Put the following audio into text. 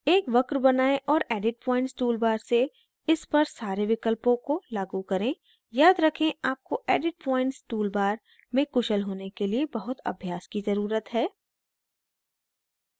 एक वक्र बनाएं और edit points toolbar से इस पर सारे विकल्पों को लागू करें याद रखें आपको edit points toolbar में कुशल होने के लिए बहुत अभ्यास की ज़रुरत है